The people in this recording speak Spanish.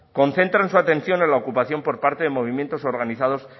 concentran su atención en la ocupación por parte de movimientos organizados